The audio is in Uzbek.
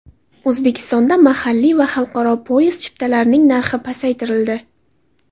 O‘zbekistonda mahalliy va xalqaro poyezd chiptalarining narxi pasaytirildi.